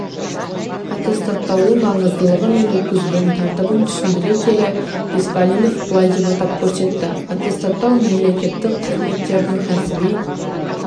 аттестаттаудың маңыздылығы мен өткізілу тәртібін түсіндіре келе беспалинов былай деп атап көрсетті аттестаттау мемлекеттік қызметкердің кәсіби